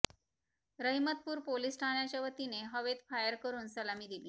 Rahimatpur police ठाण्याच्या वतीने हवेत फायर करून सलामी दिली